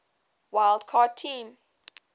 wild card team